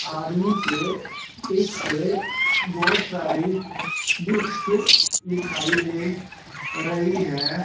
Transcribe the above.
आदमी के पीछे बहोत सारी बुक्स दिखाई दे रही है।